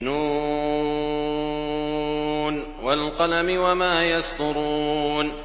ن ۚ وَالْقَلَمِ وَمَا يَسْطُرُونَ